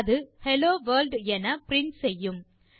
அது hello world என print செய்யும்